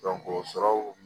o sɔrɔw